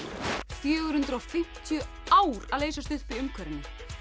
fjögur hundruð og fimmtíu ár að leysast upp í umhverfinu